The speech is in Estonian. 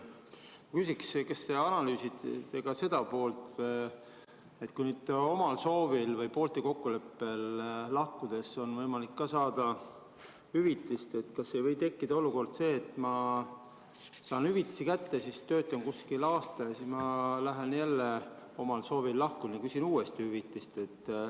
Ma küsiksin, kas te analüüsisite ka seda poolt, et kui omal soovil või poolte kokkuleppel lahkudes on võimalik saada hüvitist, kas ei või tekkida olukord, et ma saan hüvitise kätte, siis töötan kuskil aasta ja siis ma jälle omal soovil lahkun ja küsin uuesti hüvitist.